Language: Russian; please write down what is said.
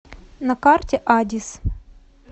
на карте адис